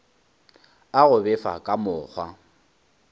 a go befa ka mokgwa